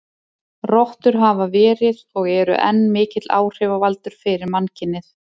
Rottur hafa verið, og eru enn, mikill áhrifavaldur fyrir mannkynið.